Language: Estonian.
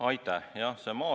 Aitäh!